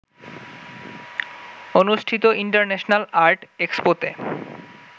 অনুষ্ঠিত international art এক্সপোতে